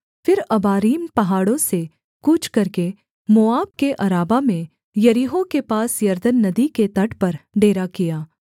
फिर अबारीम पहाड़ों से कूच करके मोआब के अराबा में यरीहो के पास यरदन नदी के तट पर डेरा किया